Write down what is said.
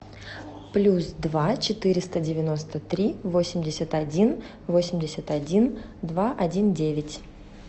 плюс два четыреста девяносто три восемьдесят один восемьдесят один два один девять